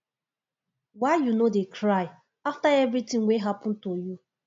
why you no dey cry after everything wey happen to you